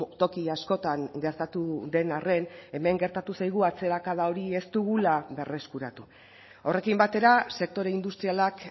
toki askotan gertatu den arren hemen gertatu zaigu atzerakada hori ez dugula berreskuratu horrekin batera sektore industrialak